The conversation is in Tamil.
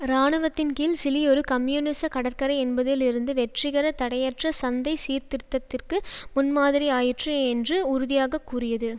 இராணுவத்தின்கீழ் சிலி ஒரு கம்யூனிச கடற்கரை என்பதில் இருந்து வெற்றிகர தடையற்ற சந்தை சீர்திருத்தத்திற்கு முன் மாதிரி ஆயிற்று என்று உறுதியாக கூறியது